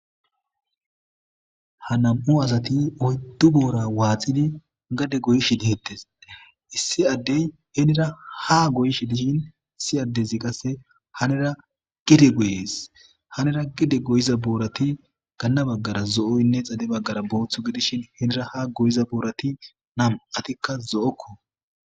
Ha nam7u asati oyddu boora waaxidi gade goyishi dihettes issi addey henira ha goyishi dishin issi addezi qasse hanera gide goyes hanera gide goyiza boorati ganna baggara zo7oynne xale baggara booththu gidishin henira ha goyiza boorati nam7atikka zo7okko.